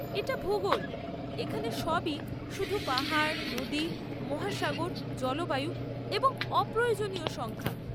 এটা ভুগোল! এখানে সবই শুধু পাহাড়, নদী, মহাসাগর, জলবায়ু এবং অপ্রয়োজনীয় সংখ্যা।